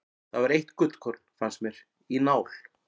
Það var eitt gullkorn, fannst mér, í nál.